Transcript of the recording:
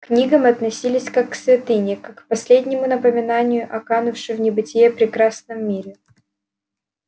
к книгам относились как к святыне как к последнему напоминанию о канувшем в небытие прекрасном мире